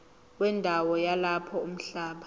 wendawo yalapho umhlaba